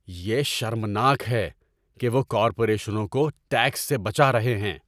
یہ شرمناک ہے کہ وہ کارپوریشنوں کو ٹیکس سے بچا رہے ہیں۔